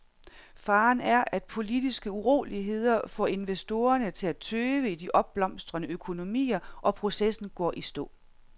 Faren er, at politiske uroligheder får investorerne til at tøve i de opblomstrende økonomier og processen går i stå.